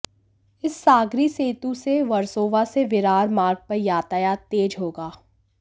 इस सागरी सेतु से वर्सोवा से विरार मार्ग पर यातायात तेज होगा